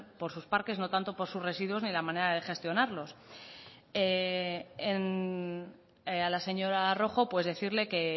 por sus parques no tanto por sus residuos ni de la manera de gestionarlos a la señora rojo pues decirle que